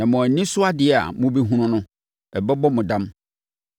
Na mo ani so adeɛ a mobɛhunu no bɛbɔ mo dam.